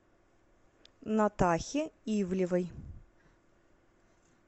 натахе ивлевой